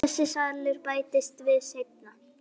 Þessi salur bættist við seinna.